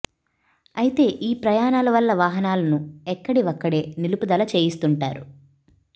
అయితే ఈ ప్రయాణాల వల్ల వాహనాలను ఎక్కడి వక్కడే నిలుపుదల చేయిస్తుంటారు